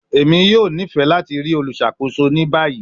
Emi yoo nifẹ lati rii oluṣakoso ni bayi